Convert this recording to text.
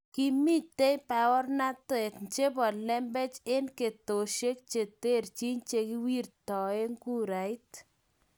Kimitei baornatet chebo lembech eng ketesyosiek che terchin che kiwirtoe kurait